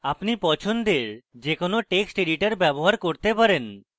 আপনি পছন্দের যে কোনো text editor ব্যবহার করতে পারেন